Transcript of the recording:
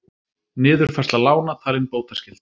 Niðurfærsla lána talin bótaskyld